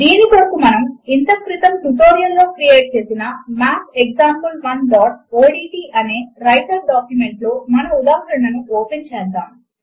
దీని కొరకు మనము ఇంతక్రితము ట్యుటోరియల్ లో క్రియేట్ చేసిన mathexample1ఓడ్ట్ అనే వ్రైటర్ డాక్యుమెంట్ లో మన ఉదాహరణను ఓపెన్ చేద్దాము